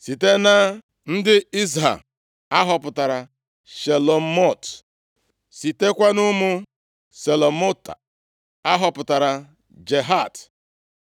Site na ndị Izha a họpụtara Shelomot. Sitekwa nʼụmụ Shelomot a họpụtaara Jahat.